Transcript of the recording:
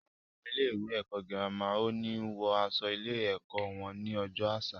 Àwọn ọmọ ilé ẹ̀kọ́ girama o ni wọ aṣọ ilé ẹ̀kọ́ wọn ni ọjọ́ àṣà